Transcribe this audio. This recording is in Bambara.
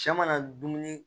Cɛ mana dumuni